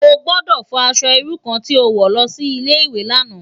Ó gbòdò fò aṣò irú kàn ti ó wò lòsi Ilé iwé làná